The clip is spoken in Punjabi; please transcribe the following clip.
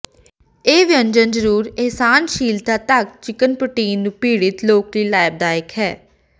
ਇਹ ਵਿਅੰਜਨ ਜ਼ਰੂਰ ਅਸਹਿਣਸ਼ੀਲਤਾ ਤੱਕ ਚਿਕਨ ਪ੍ਰੋਟੀਨ ਨੂੰ ਪੀੜਤ ਲੋਕ ਲਈ ਲਾਭਦਾਇਕ ਹੈ